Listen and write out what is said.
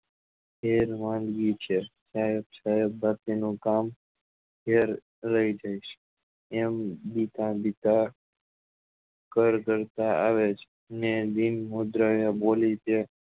એ માનવી છે નાયક સાહેબ એ આપેલું કામ રહી જાય છે એમ બીતા બીતા કડકડતા આવે છે ને મુદ્રા એ બોલી કે એ માનવી છે